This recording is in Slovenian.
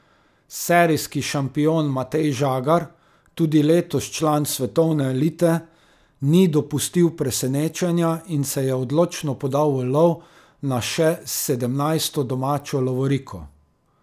Serijski šampion Matej Žagar, tudi letos član svetovne elite, ni dopustil presenečenja in se je odločno podal v lov na še sedemnajsto domačo lovoriko.